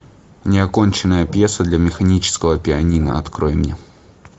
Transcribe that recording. неоконченная пьеса для механического пианино открой мне